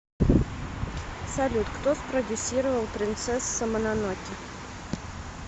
салют кто спродюссировал принцесса мононоке